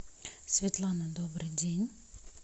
светлана добрый день